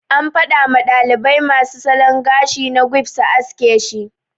An fada ma dalibai masu salon gashi na quiff su haske shi.